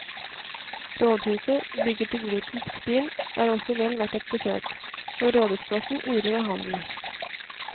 Rådhuset, bygget i gotisk stil, er også vel verdt et besøk, og rådhusplassen yrer av handel.